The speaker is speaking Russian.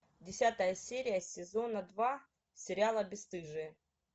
десятая серия сезона два сериала бесстыжие